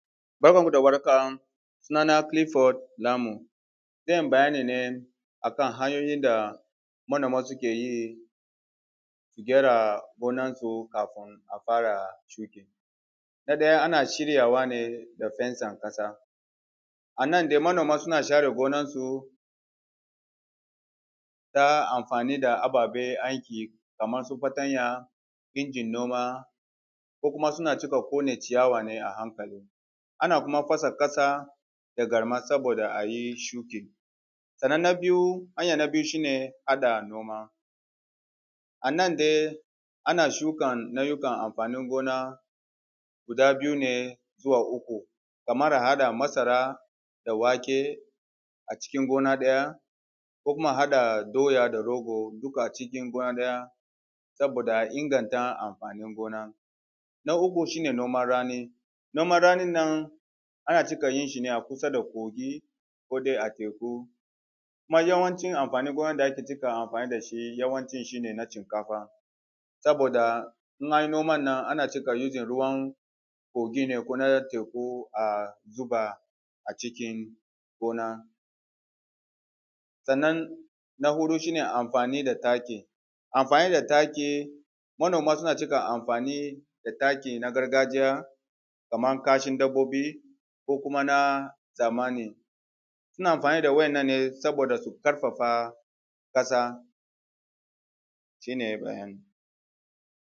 Barkanku da warhaka suna na Clifford Lamun, zan bayani ne akan hanyoyin da manoma suke yi su gyara gonansu kafin a fara shuki. Na ɗaya ana shiryawa ne da fensan ƙasa, a nan dai manoma suna share gonansu ta amfani da ababen aiki kamar su fatanya, injin noma ko kuma suna cika ƙone ciyawa ne a hankali. Ana kuma fasa noma da garma saboda a yi shuki. Sannan na biyu, hanya na biyu shi ne haɗa noma: Anan dai ana shukan nau’ukan amfanin gona guda biyu ne zuwa uku, kamar a haɗa masara da wake acikin gona ɗaya ko kuma a haɗa doya da rogo duk acikin gona ɗaya saboda a inganta amfanin gona. Na uku shi ne noman rani: Noman ranin nan ana cika yin shi ne a kusa da kogi ko dai a teku. Kuma yawancin amfanin gonan da ake cika amfani da shi yawancin shi ne na shinkafa saboda in an yi noman nan ana cika yi using ruwan kogi ne ko na teku a zuba acikin gona. Sannan na huɗu shi ne amfani da taki: Amfani da taki, manoma suna cika amfani da taki na gargajiya kamar kashin dabbobi ko kuma na zamani. Suna amfani da waɗannan ne saboda su ƙarfafa ƙasa shi ne bayanin.